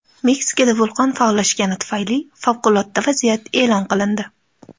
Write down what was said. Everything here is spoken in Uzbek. Meksikada vulqon faollashgani tufayli favqulodda vaziyat e’lon qilindi.